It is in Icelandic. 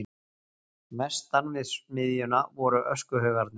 Vestan við smiðjuna voru öskuhaugarnir.